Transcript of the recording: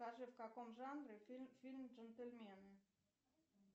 скажи в каком жанре фильм джентельмены